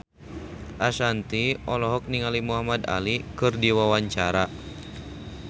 Ashanti olohok ningali Muhamad Ali keur diwawancara